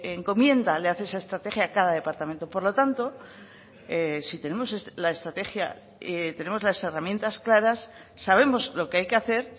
encomienda le hace esa estrategia a cada departamento por lo tanto si tenemos la estrategia tenemos las herramientas claras sabemos lo que hay que hacer